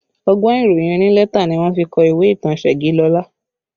Ọgbọ́n ìròyìn onílẹ́tà ni wọ́n fi kọ ìwé ìtàn Segilola